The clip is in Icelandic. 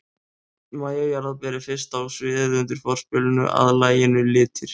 MÆJA JARÐARBER er fyrst á sviðið undir forspilinu að laginu Litir.